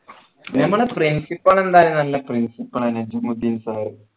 ഞമ്മളെ principal എന്തായാലും നല്ല principal എന്നെ ജുമുദീൻ sir